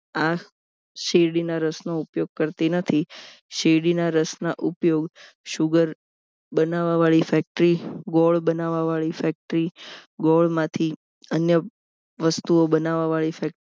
આ શેરડીના રસનો ઉપયોગ કરતી નથી શેરડીના રસના ઉપયોગ sugar બનાવવા વાળી factory ગોળ બનાવવાની factory ગોળ માંથી અન્ય વસ્તુઓ બનાવવાવાળી factory